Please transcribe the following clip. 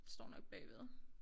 Det står nok bagved